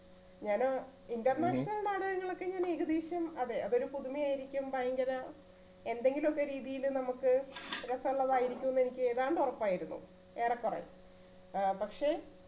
ഞാന് international നാടകങ്ങളൊക്കെ ഞാൻ ഏകദേശം അതെ അതൊരു പുതുമയായിരിക്കും ഭയങ്കര എന്തെങ്കിലുമൊക്കെ രീതിയിൽ നമ്മക്ക് രസമുള്ളതായിരിക്കുന്നു എനിക്ക് ഏതാണ്ട് ഒറപ്പായിരുന്നു ഏറെക്കുറെ ആഹ് പക്ഷെ